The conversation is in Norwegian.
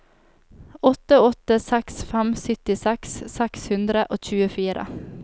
åtte åtte seks fem syttiseks seks hundre og tjuefire